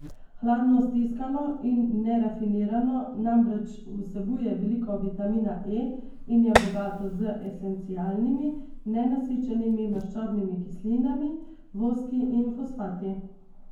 Hladno stiskano in nerafinirano namreč vsebuje veliko vitamina E in je bogato z esencialnimi, nenasičenimi maščobnimi kislinami, voski in fosfati.